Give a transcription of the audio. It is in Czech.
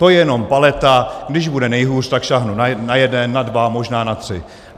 To je jenom paleta, když bude nejhůř, tak sáhnu na jeden, na dva, možná na tři.